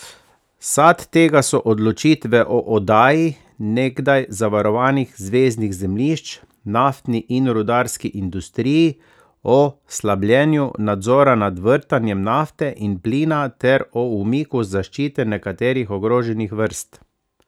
Sad tega so odločitve o oddaji nekdaj zavarovanih zveznih zemljišč naftni in rudarski industriji, o slabljenju nadzora nad vrtanjem nafte in plina ter o umiku zaščite nekaterih ogroženih vrst.